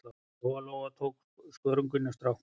Lóa-Lóa og tók skörunginn af stráknum.